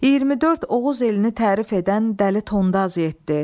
24 Oğuz elini tərif edən Dəli Tondaz getdi.